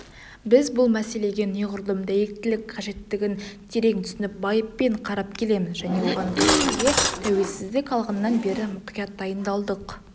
біз бұл мәселеге неғұрлым дәйектілік қажеттігін терең түсініп байыппен қарап келеміз және оған кірісуге тәуелсіздік алғаннан бері мұқият дайындалдық